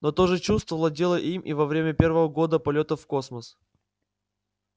но то же чувство владело им и во время первого года полётов в космос